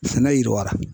Sɛnɛ yiriwa